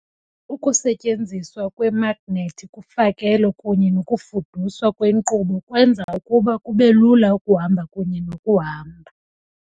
Ukusetyenziswa kweemagnethi kufakelo kunye nokufuduswa kwenkqubo kwenza ukuba kube lula ukuhamba kunye nokuhamba.